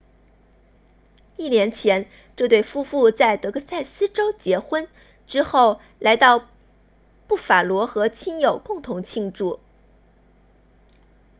一年前这对夫妇在德克萨斯州结婚之后来到布法罗和亲友共同庆祝